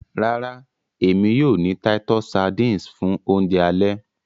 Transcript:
Rárá, èmi yóò ni titus sardines fun Ounjẹ ale